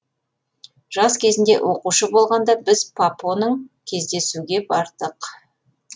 жас кезінде оқушы болғанда біз папоның кездесуге бардық